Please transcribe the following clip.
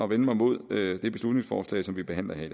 vende mig mod det beslutningsforslag som vi behandler her i